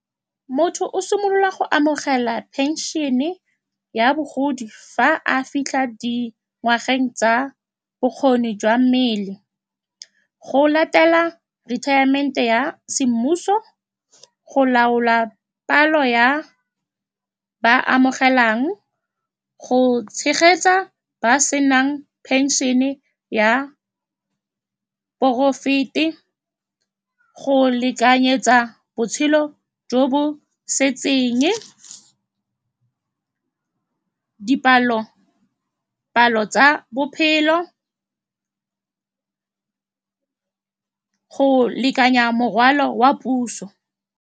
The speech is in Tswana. Motho o simolola go amogela pension-ne ya bogodi fa a fitlha di ngwageng tsa bokgoni jwa mmele, go latela retirement-e ya semmuso, go laola palo ya ba ba amogelang, go tshegetsa ba ba senang pension-e ya porofete, go lekanyetsa botshelo jo bo se , dipalo-palo tsa bophelo, go lekanya morwalo wa puso.